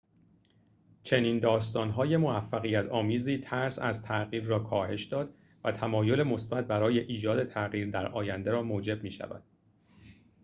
چنین داستان‌های موفقیت‌آمیزی ترس از تغییر را کاهش داد و تمایل مثبت برای ایجاد تغییر در آینده را موجب می‌شود